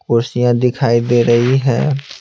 कुर्सियाँ दिखाई दे रही है।